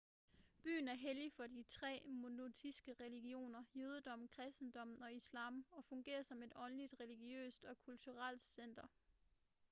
byen er hellig for de tre monoteistiske religioner jødedommen kristendommen og islam og fungerer som et åndeligt religiøst og kulturelt center